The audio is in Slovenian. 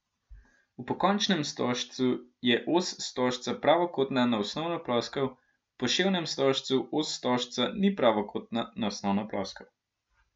V pokončnem stožcu je os stožca pravokotna na osnovno ploskev, v poševnem stožcu os stožca ni pravokotna na osnovno ploskev.